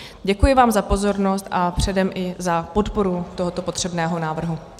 Děkuji vám za pozornost a předem i za podporu tohoto potřebného návrhu.